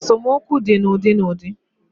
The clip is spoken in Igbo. Esomokwu di na udi na udi